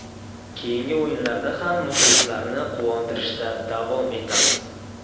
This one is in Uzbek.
Keyingi o‘yinlarda ham muxlislarni quvontirishda davom etamiz.